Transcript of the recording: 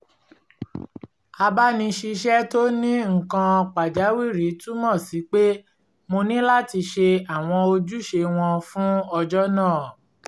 abáni-ṣiṣẹ́ tó ní nnk`kan pàjáwìrì túmọ̀ sí pé mo ní láti ṣe àwọn ojúṣe wọn fún ọjọ́ náà